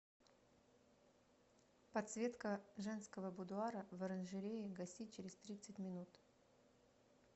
подсветка женского будуара в оранжерее гаси через тридцать минут